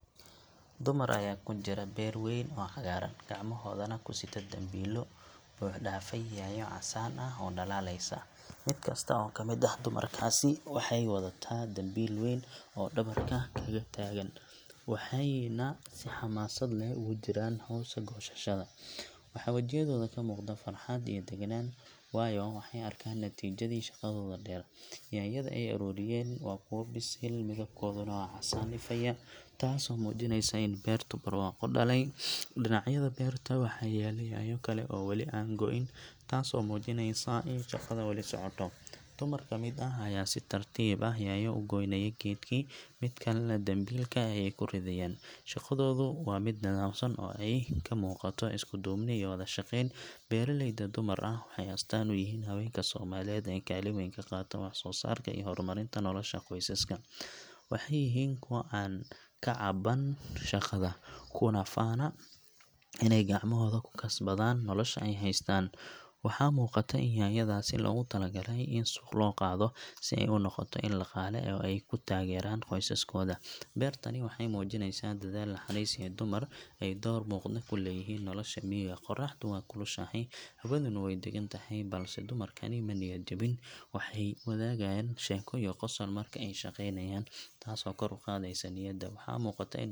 Dumar ayaa ku jira beer wayn oo cagaaran, gacmahoodana ku sita dambiilo buuxdhaafay yaanyo casaan ah oo dhalaalaysa. Mid kasta oo ka mid ah dumarkaasi waxay wadataa dambiil weyn oo dhabarka kaga taagan, waxayna si xamaasad leh ugu jiraan hawsha goosashada. Waxaa wajiyadooda ka muuqda farxad iyo deganaan, waayo waxay arkaan natiijadii shaqadooda dheer. Yaanyada ay ururinayaan waa kuwo bisil, midabkooduna waa casaan ifaya, taasoo muujinaysa in beertu barwaaqo dhalay. Dhinacyada beerta waxaa yaal yaanyo kale oo weli aan go’in, taasoo muujinaysa in shaqada weli socoto. Dumar ka mid ah ayaa si tartiib ah yaanyo uga goynaya geedkii, mid kalena dambaalka ayay ku ridayaan. Shaqadoodu waa mid nidaamsan oo ay ka muuqato isku duubni iyo wada shaqayn. Beeraleydan dumar ah waxay astaan u yihiin haweenka Soomaaliyeed ee kaalin weyn ka qaata wax-soo-saarka iyo horumarinta nolosha qoysaska. Waxay yihiin kuwo aan ka caban shaqada, kuna faana inay gacmahooda ku kasbadaan nolosha ay haystaan. Waxaa muuqata in yaanyadaasi loogu talagalay in suuq loo qaado si ay u noqoto il dhaqaale oo ay ku taageeraan qoysaskooda. Beertani waxay muujinaysaa dedaal, naxariis, iyo in dumar ay door muuqda ku leeyihiin nolosha miyiga. Qorraxdu way kulushahay, hawaduna way dagan tahay, balse dumarkani ma niyad jabin. Waxay wadaagaan sheeko iyo qosol marka ay shaqaynayaan, taasoo kor u qaadaysa niyadda. Waxaa muuqata in.